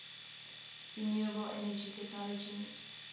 renewable energy technologies